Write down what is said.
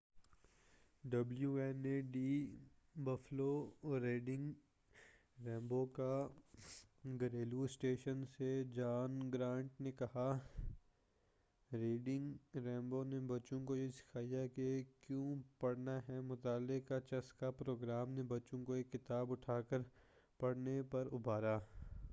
W N E D Buffalo Reading Rainbow کا گھریلو station سے جان گرانٹ نے کہا: ”ریڈنگ رینبو نے بچوں کو یہ سکھایا کہ کیوں پڑھنا ہے ۔۔۔ مطالعے کا چسکا ۔۔۔ [پروگرام] نے بچوں کو ایک کتاب اٹھاکر پڑھنے پر ابھارا۔